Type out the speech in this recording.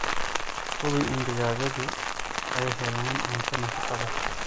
Hubi in digaagadu ay helayaan cunto nafaqo leh.